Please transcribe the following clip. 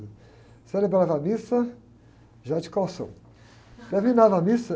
Eu celebrava a missa já ia de calção. Terminava a missa...